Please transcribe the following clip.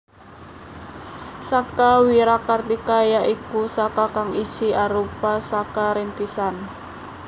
Saka Wirakartika ya iku Saka kang isih arupa Saka Rintisan